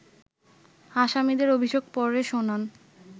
আসামিদের অভিযোগ পরে শোনান